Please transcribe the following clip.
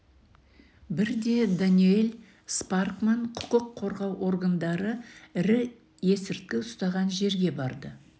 бірде даниэль спаркман құқық қорғау органдары ірі есірткі ұстаған жерге барды